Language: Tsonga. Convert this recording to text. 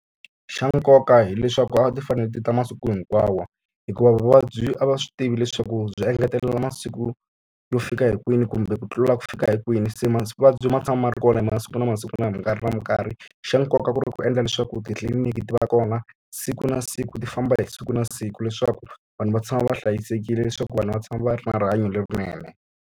Xa nkoka hileswaku a ti fanele ti ta masiku hinkwawo, hikuva vuvabyi a va swi tivi leswaku byi engetelela masiku yo fika hi kwini kumbe ku tlula ku fika hi kwini. Se mavabyi ma tshama ma ri kona masiku na masiku na mikarhi na mikarhi. Xa nkoka ku ri ku endla leswaku titliliniki ti va kona siku na siku ti famba hi siku na siku leswaku vanhu va tshama va hlayisekile, leswaku vanhu va tshama va ri na rihanyo lerinene.